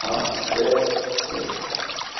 а з с